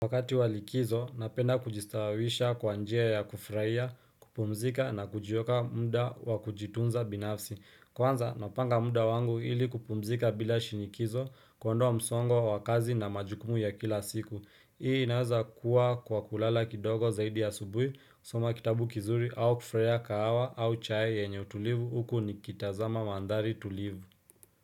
Wakati walikizo napenda kujistawisha kwa njia ya kufurahia kupumzika na kujiweka muda wakijitunza binafsi kwanza napanga muda wangu ili kupumzika bila shinikizo kuondoa msongo wa kazi na majukumu ya kila siku hii inaweza kuwa kwa kulala kidogo zaidi ya subuhi soma kitabu kizuri au kufurahia kahawa au chai yenye utulivu huku nikitazama mandari tulivu.